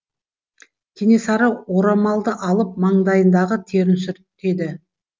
кенесары орамалды алып маңдайындағы терін сүртеді